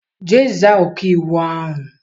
Jee za ọkaiwu ahụ!